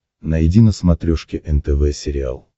найди на смотрешке нтв сериал